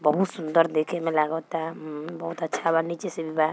बहुत सुन्दर देखंय मैं लगता बहुत अच्छा नीची से भी बा।